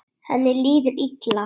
Henni líður illa.